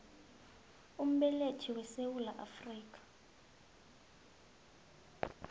umbelethi wesewula afrika